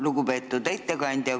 Lugupeetud ettekandja!